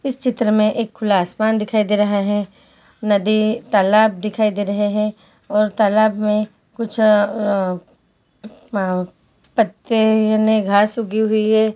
इस चित्र में एक खुला आसमान दिखाई दे रहा है। नदी तालाब दिखाई दे रहे हैं और तालाब में कुछ अ अ अ पत्ते नयी घास उगी हुई है।